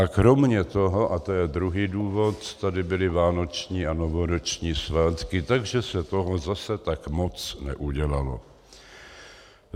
A kromě toho, a to je druhý důvod, tady byly vánoční a novoroční svátky, takže se toho zase tak moc neudělalo.